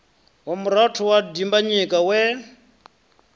wa murathu wa dimbanyika we